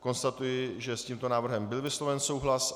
Konstatuji, že s tímto návrhem byl vysloven souhlas.